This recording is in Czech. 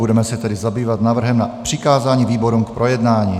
Budeme se tedy zabývat návrhem na přikázání výborům k projednání.